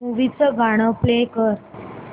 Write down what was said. movie चं गाणं play कर